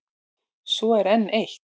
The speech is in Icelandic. Svo er enn eitt.